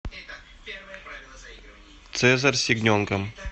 цезарь с ягненком